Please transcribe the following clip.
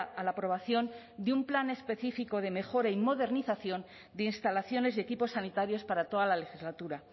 a la aprobación de un plan específico de mejora y modernización de instalaciones y equipos sanitarios para toda la legislatura